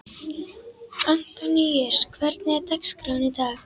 Antoníus, hvernig er dagskráin í dag?